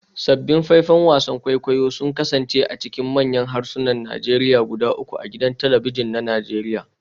Sabbin faifan wasan kwaikwayo sun kasance a cikin manyan harsunan Najeriya guda uku a gidan talabijin na Najeriya